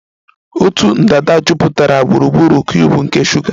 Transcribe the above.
Otu ndanda jupụtara gburugburu cuubu nke shuga